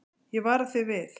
Ég vara þig við.